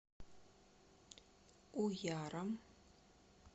уяром